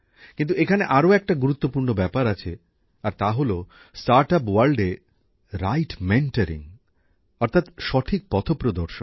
কিন্তু এখানে আরো একটা গুরুত্বপূর্ণ ব্যাপার আছে আর তাহলো স্টার্টআপের জগতে সঠিক পথপ্রদর্শন